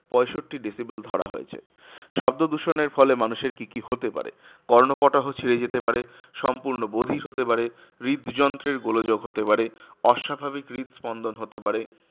পঁয়ষট্টি decibel ধরা হয়েছে। শব্দদূষণের ফলে মানুষের কি কি হতে পারে? কর্ণপটহ ছিড়ে যেতে পারে, সম্পূর্ণ বধির হতে পারে, হৃদযন্ত্রের গোলযোগ হতে পারে, অস্বাভাবিক হৃৎস্পন্দন হতে পারে